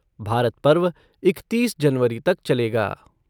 भारत पर्व इकतीस जनवरी तक चलेगा।